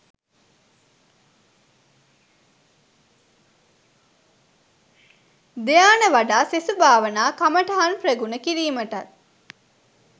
ධ්‍යාන වඩා සෙසු භාවනා කමටහන් ප්‍රගුණ කිරීමටත්